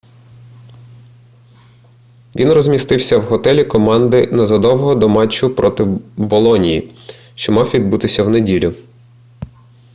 він розмістився в готелі команди незадовго до матчу проти болоньї що мав відбутися в неділю